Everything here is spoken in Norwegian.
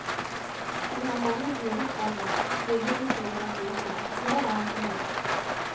De har mange dyrekranier liggende som jeg kan bruke, forklarer han fornøyd.